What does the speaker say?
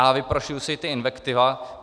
A vyprošuji si ty invektivy!